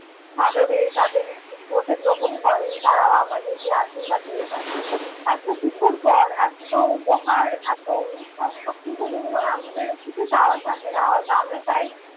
স্বাদরে তাঁদের মধ্যে গ্রহণ করেন, তাঁরাও আমাদেরকে আশীর্বাদ দিয়ে থাকেন। এত কিছুর পর এত উপহার, এত অনুষ্ঠান সবকিছু মিলে না আমাদের আর কিছু চাওয়ার থাকে না। হয়ত আমরা চাই